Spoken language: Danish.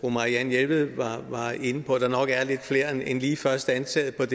marianne jelved var inde på at der nok er lidt flere end lige først antaget